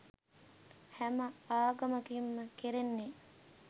හැම ආගමකින් ම කෙරෙන්නේ